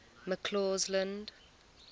mccausland